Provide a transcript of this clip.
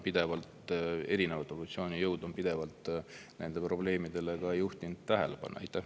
Erinevad opositsioonijõud on pidevalt nendele probleemidele tähelepanu juhtinud.